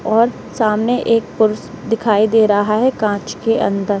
और सामने एक पुरुष दिखाई दे रहा है कांच के अंदर।